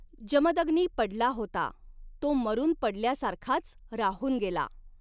जमदग्नी पडला होता. तो मरूनपडल्या सारखाच राहून गेला.